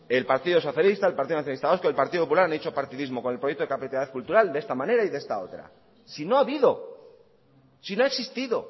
el partido socialista el partido nacionalista vasco el partido popular han hecho partidismo con el proyecto de capitalidad cultural de esta manera y de esta otra si no ha habido si no ha existido